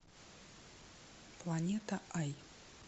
планета ай